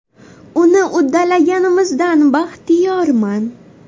Uni uddalaganimizdan baxtiyorman.